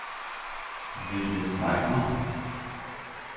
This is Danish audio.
Rie Reimer